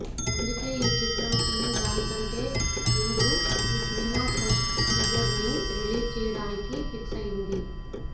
అందుకే ఈ చిత్ర టీం దానికంటే ముందు ఈ సినిమా ఫస్ట్ టీజర్ ని రిలీజ్ చేయడానికి ఫిక్సయ్యింది